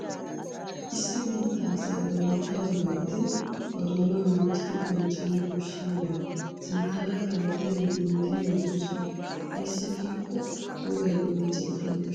Issi biittaa asay ba biittaa wogaa gidin ba doonaa loytyidi bonchchabwu koshshiyogaa sinttaara kaalettiyageeti minttidi yootoosona. Ayssi giikko wogay bonchchettana koshshees.